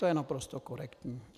To je naprosto korektní.